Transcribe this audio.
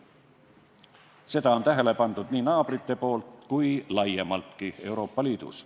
Seda on tähele pandud nii naabrite juures kui laiemaltki Euroopa Liidus.